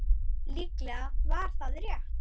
Líklega var það rétt.